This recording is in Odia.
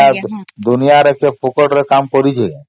ଦୁନିଆ ରେ କଣ କିଏ ମାଗଣା ରେ କାମ କରିଛି